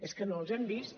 és que no els hem vist